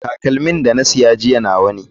Takalmin da na sa jiya nawa ne.